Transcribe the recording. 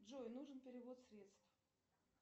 джой нужен перевод средств